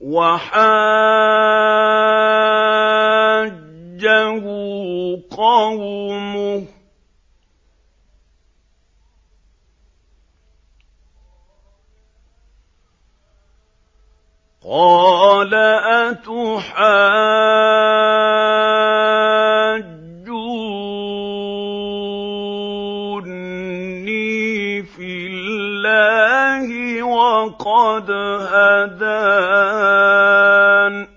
وَحَاجَّهُ قَوْمُهُ ۚ قَالَ أَتُحَاجُّونِّي فِي اللَّهِ وَقَدْ هَدَانِ ۚ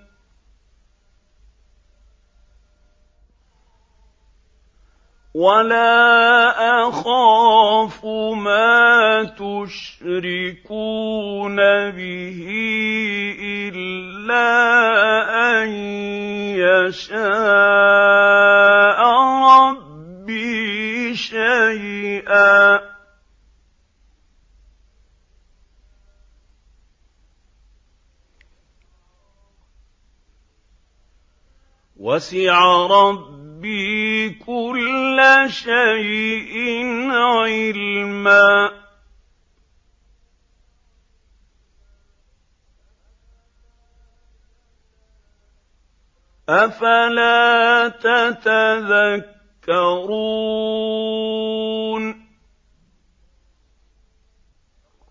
وَلَا أَخَافُ مَا تُشْرِكُونَ بِهِ إِلَّا أَن يَشَاءَ رَبِّي شَيْئًا ۗ وَسِعَ رَبِّي كُلَّ شَيْءٍ عِلْمًا ۗ أَفَلَا تَتَذَكَّرُونَ